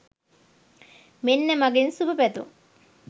මෙන්න මගෙන් සුභපැතුම්